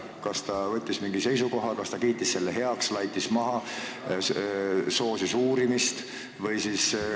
Kas ta võttis mingi seisukoha: kiitis selle heaks, laitis maha või soosis uurimist?